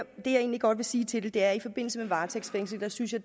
egentlig godt vil sige til det er at i forbindelse med varetægtsfængsling synes jeg